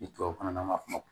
Ni tubabukan na